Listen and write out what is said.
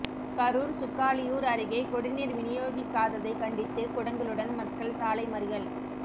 கரூர் சுக்காலியூர் அருகே குடிநீர் விநியோகிக்காததை கண்டித்து குடங்களுடன் மக்கள் சாலை மறியல்